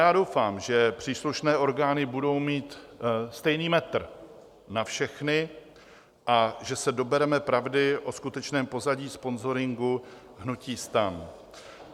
Já doufám, že příslušné orgány budou mít stejný metr na všechny a že se dobereme pravdy o skutečném pozadí sponzoringu hnutí STAN.